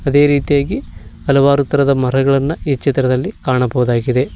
ಅದೇ ರೀತಿಯಾಗಿ ಹಲವಾರು ತರಹದ ಮರಗಳನ್ನ ಈ ಚಿತ್ರದಲ್ಲಿ ಕಾಣಬಹುದಾಗಿದೆ.